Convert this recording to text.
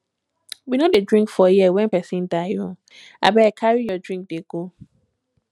we no dey drink for here wen pesin die o abeg carry your drink dey go